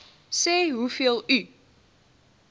sê hoeveel u